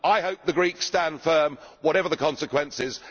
no? I hope the Greeks stand firm, whatever the consequences.